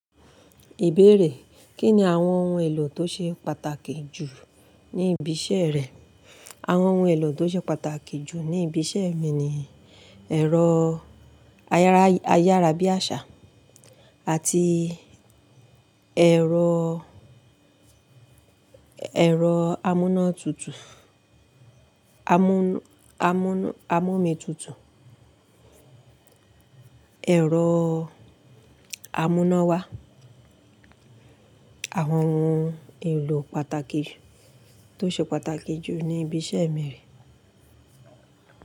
Ìbéèrè: Kí ni àwọn ohun èlò tó ṣe pàtàkì jù ní ibi iṣẹ́ rẹ? Àwọn ohun èlò tó ṣe pàtàkì jù ní ibi iṣẹ́ mi ni ẹ̀rọ ayára bí àṣá àti ẹ̀rọ, ẹ̀rọ amúná tutù, amú- amú- amúomi tutù, ẹ̀rọ amúná wá. Àwọn ohun èlò pàtàkì tó ṣe pàtàkì jù ní ibi iṣẹ́ mi rí.